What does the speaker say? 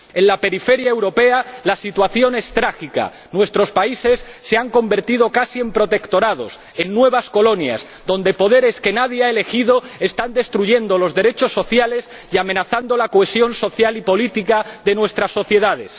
En la periferia europea la situación es trágica nuestros países se han convertido casi en protectorados, en nuevas colonias, donde poderes que nadie ha elegido están destruyendo los derechos sociales y amenazando la cohesión social y política de nuestras sociedades.